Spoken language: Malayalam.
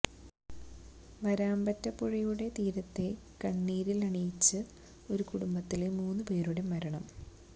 വാരാമ്പറ്റ പുഴയുടെ തീരത്തെ കണ്ണീരിലണിയിച്ച് ഒരു കുടുംബത്തിലെ മൂന്ന് പേരുടെ മരണം